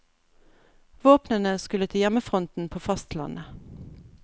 Våpnene skulle til hjemmefronten på fastlandet.